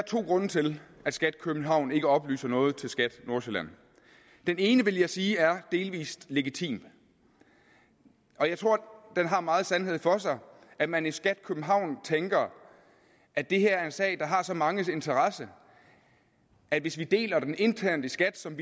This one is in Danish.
to grunde til at skat københavn ikke oplyser noget til skat nordsjælland den ene vil jeg sige er delvis legitim jeg tror det har meget sandhed for sig at man i skat københavn tænker at det her er en sag der har så manges interesse at hvis man deler den internt i skat som